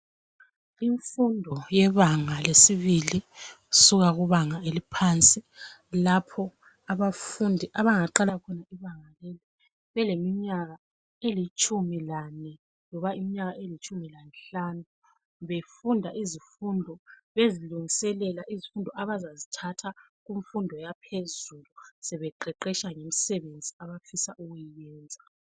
Imfundo yebanga lesibili kusuka kubanga eliphansi lapho abafundi abangaqala khona ibanga leli beleminyaka elitshumi lane loba iminyaka elitshumi lanhlanu befunda izifundo bezilungiselela izifundo abazazithatha kumfundo yaphezulu sebeqeqesha ngemsebenzi abafisa ukuyenza.